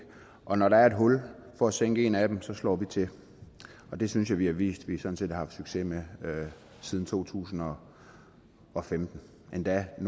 og når der er et hul for at sænke en af dem slår vi til og det synes jeg vi har vist at vi sådan set har haft succes med siden to tusind og og femten endda er